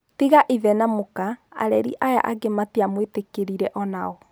Tiga ithe na mũka, areri aya angĩ matiamũĩtĩkirie o-nao.